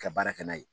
Ka baara kɛ n'a ye